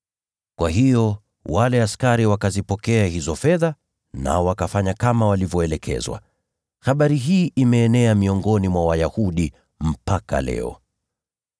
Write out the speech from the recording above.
Kwa hiyo wale askari wakazipokea hizo fedha nao wakafanya kama walivyoelekezwa. Habari hii imeenea miongoni mwa Wayahudi mpaka leo.